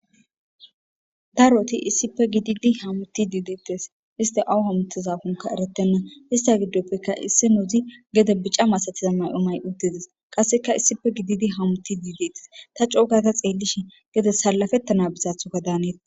daroti issipe gididi hamuti dideettes iste awu hamutizakonka eretenna ista giddoppeka isse noudzi gede bica masatiza mayomay uddides qasseka issife gididi hamuti dideettes ta coogata xeellishi gedes salafettana bizathoka daanettes